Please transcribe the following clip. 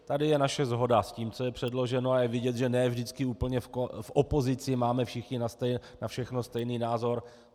Tady je naše shoda s tím, co je předloženo, a je vidět, že ne vždycky úplně v opozici máme všichni na všechno stejný názor.